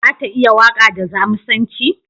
Za ta iya waƙa da Jamusanci?